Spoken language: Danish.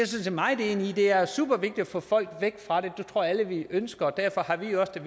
set meget enig i det er super vigtigt at få folk væk fra det det tror jeg vi alle ønsker og derfor har vi også